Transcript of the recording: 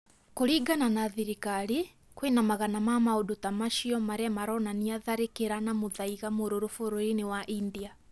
Kũrĩngana na thirikari kwĩna magana ma maũndũ ta macio marĩa maronania tharĩkĩra na mũthaiga mũrũrũ bũrũrĩ-inĩ wa India